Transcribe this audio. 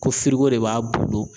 Ko de b'a bolo.